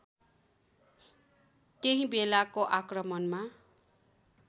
त्यही बेलाको आक्रमणमा